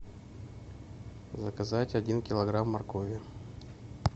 заказать один килограмм моркови